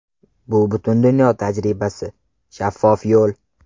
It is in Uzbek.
Bu butun dunyo tajribasi, shaffof yo‘l.